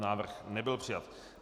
Návrh nebyl přijat.